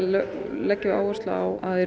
leggjum við áherslu á að